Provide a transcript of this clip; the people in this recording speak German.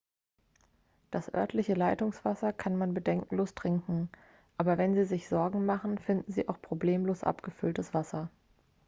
das örtliche leitungswasser kann man bedenkenlos trinken aber wenn sie sich sorgen machen finden sie auch problemlos abgefülltes wasser